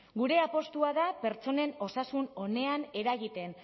gure apustua da pertsonen osasun onean eragiten